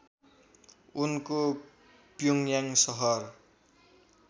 उनको प्योङ्याङ सहर